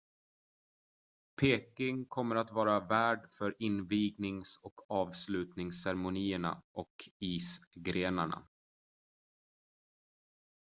peking kommer att vara värd för invignings- och avslutningsceremonierna och isgrenarna